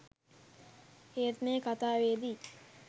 ඒත් මේ කතාවේදී